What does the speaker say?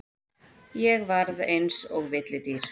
Ég varð eins og villidýr.